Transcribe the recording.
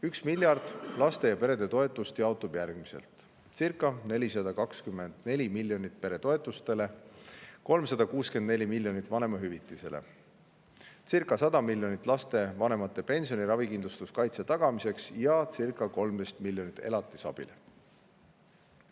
1 miljard laste ja perede toetuseks jaotub järgmiselt: circa 424 miljonit peretoetustele, 364 miljonit vanemahüvitisele, circa 100 miljonit lapsevanemate pensioni ja ravikindlustuskaitse tagamiseks ja circa 13 miljonit elatisabile.